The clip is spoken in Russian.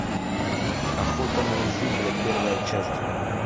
охота на изюбря первая часть